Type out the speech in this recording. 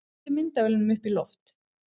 Beindu myndavélunum upp í loft